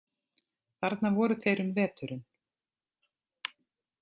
Þarna voru þeir um veturinn.